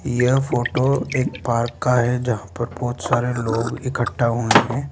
यह फोटो एक पार्क का है जहां पर बहुत सारे लोग इकट्ठा हुए हैं।